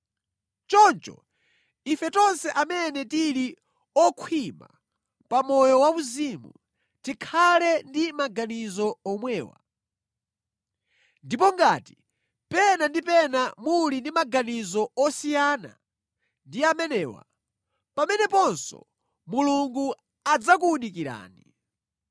Choncho ife tonse amene tili okhwima pa moyo wauzimu, tikhale ndi maganizo omwewa. Ndipo ngati pena ndi pena muli ndi maganizo osiyana ndi amenewa, pameneponso Mulungu adzakuwunikirani.